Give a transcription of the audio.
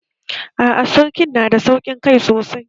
A'a sarkin na da sauƙin kai sosai